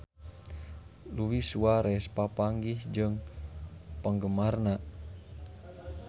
Luis Suarez papanggih jeung penggemarna